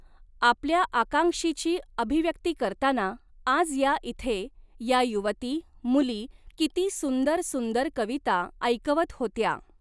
आपल्या आकांक्षीची अभिव्यक्ती करताना, आज या इथे या युवती, मुली किती सुंदर सुंदर कविता ऐकवत होत्या.